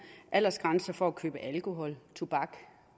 aldersgrænse for at købe alkohol tobak